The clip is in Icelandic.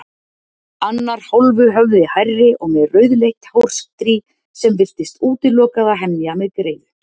Annar hálfu höfði hærri og með rauðleitt hárstrý sem virtist útilokað að hemja með greiðu.